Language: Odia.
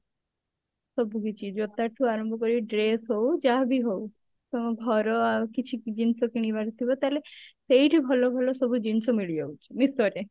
ସବୁକିଛି ଜୋତା ଠୁ ଆରମ୍ଭ କରି dress ହଉ ଯାହାବି ହଉ ତାମ ଘର ଆଉ କିଛି ଜିନିଷ କିଣିବାର ଥିବ ତାହେଲେ ସେଇଠି ଭଲ ଭଲ ସବୁ ଜିନିଷ ମିଳିଯାଉଛି meesho ରେ